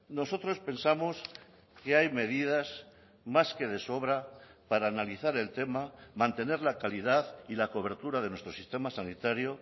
nosotros pensamos que hay medidas más que de sobra para analizar el tema mantener la calidad y la cobertura de nuestro sistema sanitario